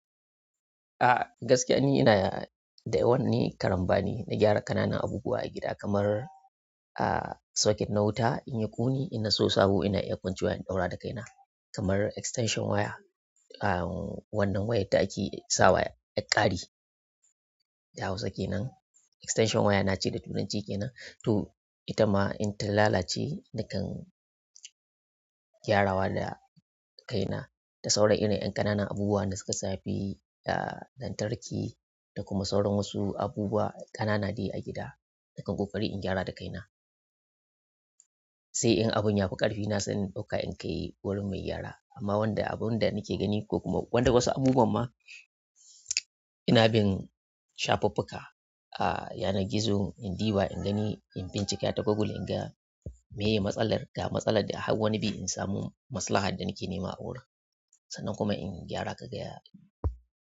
Ah gaskiya ni ina da yawa karambani na gyara ƙananan abubuwa a gida kamar, ah, socket na wuta in ya ƙone, in na siyo sabo ina iya kwancewa in ɗaura da kaina kamar extension waya. Ah, wannan wayar da ake sawa 'yar ƙari da Hausa kenan. Extension wire nace da turanci kenan. To ita ma in ta lalace nakan gyarawa da kaina. Da sauran irin ƴan ƙananan abubuwa da suka shafi da lantarki da kuma sauran wasu abubuwa ƙanana de a gida, nakan ƙoƙari in gyara da kaina. Sai in abu ya fi ƙarfi na sai in ɗauka in kai wurin mai gyara. Amma wanda abunda nake gani ko kuma wasu abubuwan ma ina bin shafuffuka, ah, yanar gizo in ɗiba, in gani, in bincika ta Google in ga meye matsalar da matsalar da hawwa nabi in samu maslaha da nake nema a wurin sannan kuma in gyara kaga ya.